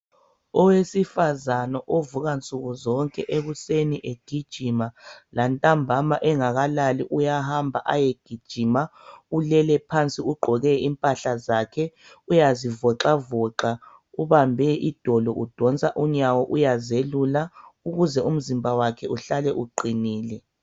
Owesifazana ovukansukuzonke ekuseni ayegijima lantambama engakalali uyahamba ayegijima ulele phansi ugqoke impahla zakhe uyazivoxavoxa ubambe idolo udonsa unyawo uyazelula ukuze umzimba wakhe uhlale uqinile.